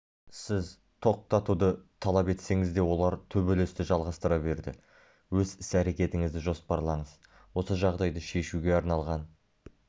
сіз тоқтатуды талап етсеңіз де олар төбелесті жалғастыра берді өз іс-әрекетіңізді жоспарлаңыз осы жағдайды шешуге арналған